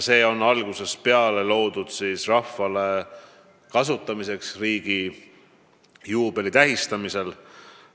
See on loodud mõttega, et rahvas saaks seda kasutada riigi juubeli tähistamisel.